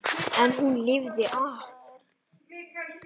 En hún lifði af.